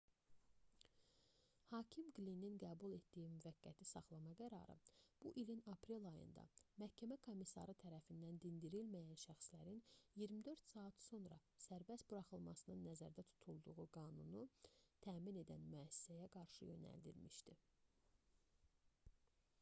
hakim qlinin qəbul etdiyi müvəqqəti saxlama qərarı bu ilin aprel ayında məhkəmə komissarı tərəfindən dindirilməyən şəxslərin 24 saat sonra sərbəst buraxılmasının nəzərdə tutulduğu qanunu təmin edən müəssisəyə qarşı yönəlmişdi